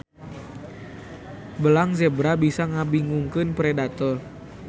Belang zebra bisa ngabingungkeun predator